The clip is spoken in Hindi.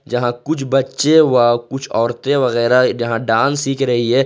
यहां कुछ बच्चे वह कुछ औरतें वगैरा जहां डांस सीख रही है।